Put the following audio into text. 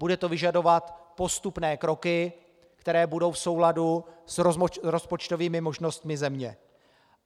Bude to vyžadovat postupné kroky, které budou v souladu s rozpočtovými možnostmi země.